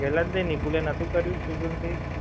પેલા દિવસે નિકુલે નોહતું કર્યું swiggy માથી